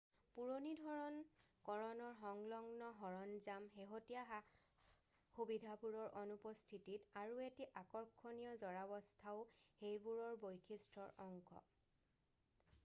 পুৰণি ধৰণ-কৰণৰ সংলগ্ন সৰঞ্জাম শেহতীয়া সা-সুবিধাবোৰৰ অনুপস্থিতিতি আৰু এটি আকৰ্ষণীয় জৰাৱস্থাও সেইবোৰৰ বৈশিষ্ট্যৰ অংশ